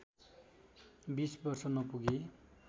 २० वर्ष नपुगी